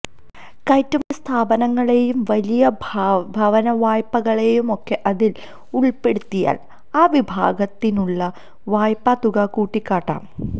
കയറ്റുമതി സ്ഥാപനങ്ങളെയും വലിയ ഭവന വായ്പകളെയുമൊക്കെ അതില് ഉള്പ്പെടുത്തിയാല് ആ വിഭാഗത്തിനുള്ള വായ്പ്പാത്തുക കൂട്ടിക്കാട്ടാം